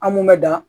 An mun mɛ da